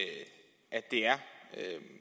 det er